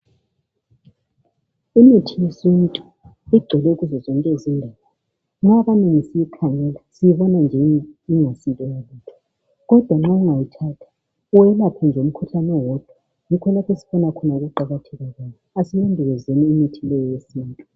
Imithi yesintu igcwele kuzozonke izindawo. Nxa abanengi siyikhangela sibona nje ingasilutho. Kodwa nxa ungawuthatha uwelaphe nje umkhuhlane owodwa yikho lapho obona ukuqakatheka asilondolozeni imithi le yesintu.